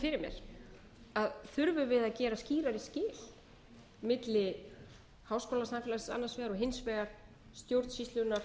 mér þurfum við að gera skýrari skil milli háskólasamfélags annars vegar og hins vegar stjórnsýslunnar